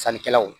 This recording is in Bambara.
Sannikɛlaw